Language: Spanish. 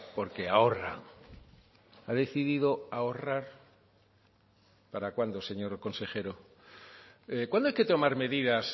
porque ahorra ha decidido ahorrar para cuándo señor consejero cuándo hay que tomar medidas